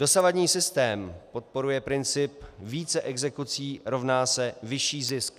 Dosavadní systém podporuje systém: více exekucí rovná se vyšší zisk.